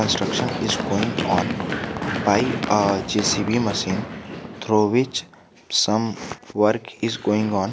Construction is going on by a jcb machine through which some work is going on.